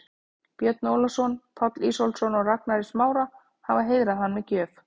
Björn Ólafsson, Páll Ísólfsson og Ragnar í Smára, hafa heiðrað hann með gjöf.